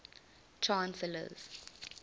chancellors